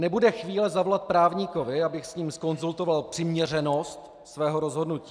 Nebude chvíle zavolat právníkovi, abych s ním zkonzultoval přiměřenost svého rozhodnutí.